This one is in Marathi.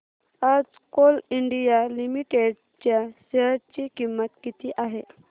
आज कोल इंडिया लिमिटेड च्या शेअर ची किंमत किती आहे